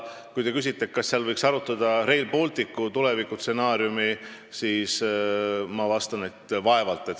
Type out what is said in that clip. Kui te küsite, kas seal võidakse arutada Rail Balticu tulevikustsenaariumi, siis ma vastan, et vaevalt.